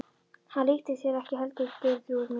Hann líktist þér ekki heldur Geirþrúður mín.